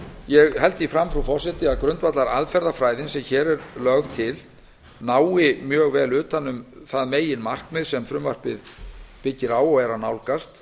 ég held því fram að grundvallaraðferðafræðin sem hér er lögð til nái mjög vel utan um það meginmarkmið sem frumvarpið byggir á nálgast